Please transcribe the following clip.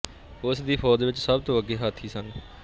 ਉਸ ਦੀ ਫ਼ੌਜ ਵਿੱਚ ਸਭ ਤੋਂ ਅੱਗੇ ਹਾਥੀ ਸਨ